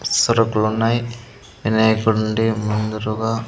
సరుకులున్నాయి వినాయకుడి నుండి ముందురుగా.